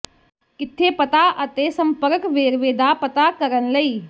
ਕਿੱਥੇ ਪਤਾ ਅਤੇ ਸੰਪਰਕ ਵੇਰਵੇ ਦਾ ਪਤਾ ਕਰਨ ਲਈ